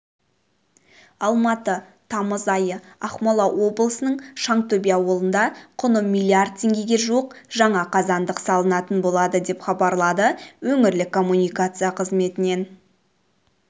алматы тамыз айы ақмола облысының шаңтөбе ауылында құны миллиард теңгеге жуық жаңа қазандық салынатын болады деп хабарлады өңірлік коммуникация қызметінен